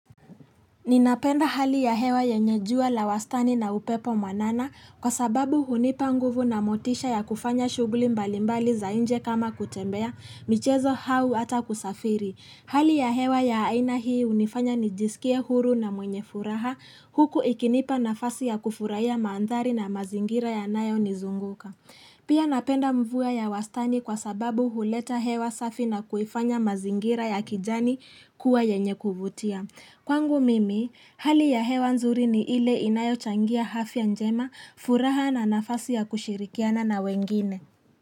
Ninapenda hali ya hewa yenye jua la wastani na upepo mwanana kwa sababu hunipa nguvu na motisha ya kufanya shughuli mbalimbali za nje kama kutembea, michezo au ata kusafiri. Hali ya hewa ya aina hii hunifanya nijisikie huru na mwenye furaha huku ikinipa nafasi ya kufurahia mandhari na mazingira yanayo nizunguka. Pia napenda mvua ya wastani kwa sababu huleta hewa safi na kuifanya mazingira ya kijani kuwa yenye kuvutia. Kwangu mimi, hali ya hewa nzuri ni ile inayochangia afya njema furaha na nafasi ya kushirikiana na wengine.